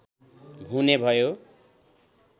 हुने भयो